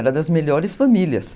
Era das melhores famílias.